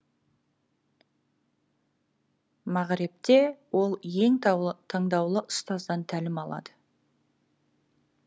мағребте ол ең таңдаулы ұстаздан тәлім алады